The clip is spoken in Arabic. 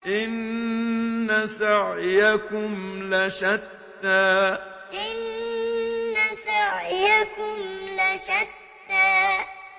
إِنَّ سَعْيَكُمْ لَشَتَّىٰ إِنَّ سَعْيَكُمْ لَشَتَّىٰ